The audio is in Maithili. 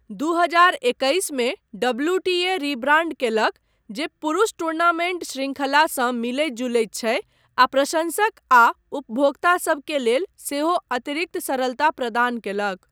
दू हजार एकैस मे डब्ल्यूटीए रिब्राण्ड कयलक, जे पुरुष टूर्नामेन्ट शृङ्खलासँ मिलैत जुलैत छै, आ प्रशंसक आ उपभोक्तासब के लेल सेहो अतिरिक्त सरलता प्रदान कयलक।